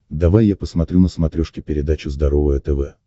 давай я посмотрю на смотрешке передачу здоровое тв